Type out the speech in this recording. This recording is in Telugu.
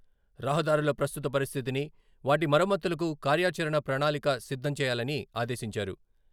రహదారుల ప్రస్తుత పరిస్థితిని, వాటి మరమ్మతులకు కార్యాచరణ ప్రణాళిక సిద్ధం చేయాలని ఆదేశించారు.